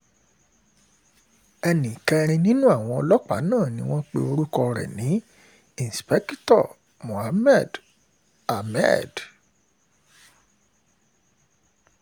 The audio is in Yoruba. ẹnì kẹrin nínú àwọn ọlọ́pàá náà ni wọ́n pe orúkọ ẹ̀ ní indikítọ́ ahmed mohammed